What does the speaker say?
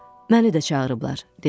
Məni də çağırıblar, dedi.